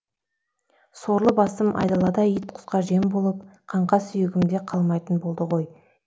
сорлы басым айдалада ит құсқа жем болып қаңқа сүйегім де қалмайтын болды